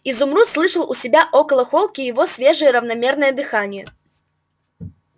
изумруд слышал у себя около холки его свежее равномерное дыхание